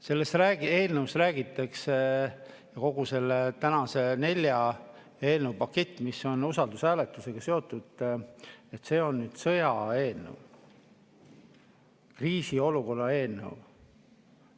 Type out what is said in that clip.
Selles eelnõus räägitakse, et kogu see nelja eelnõu pakett, mis on usaldushääletusega seotud, on sõjaaja eelnõu, kriisiolukorra eelnõu.